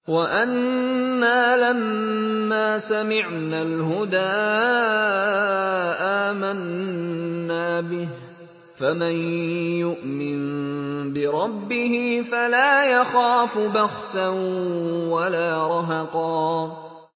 وَأَنَّا لَمَّا سَمِعْنَا الْهُدَىٰ آمَنَّا بِهِ ۖ فَمَن يُؤْمِن بِرَبِّهِ فَلَا يَخَافُ بَخْسًا وَلَا رَهَقًا